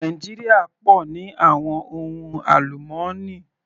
Nàìjíríà pọ̀ ní àwọn ohun àlùmọ́nì.